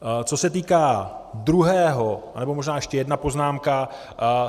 Co se týká druhého - nebo možná ještě jedna poznámka.